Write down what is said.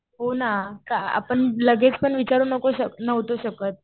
हो ना. आपण लगेच पण विचारू नव्हतो शकत.